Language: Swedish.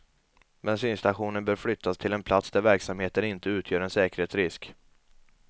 Bensinstationen bör flyttas till en plats där verksamheten inte utgör en säkerhetsrisk.